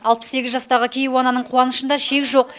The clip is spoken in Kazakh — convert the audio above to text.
алпыс сегіз жастағы кейуананың қуанышында шек жоқ